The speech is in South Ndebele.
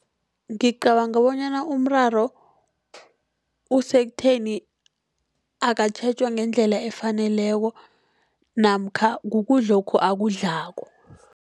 Ngicabanga bonyana umraro usekutheni akatjhejwa ngendlela efaneleko namkha kukudlokhu akudlako.